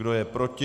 Kdo je proti?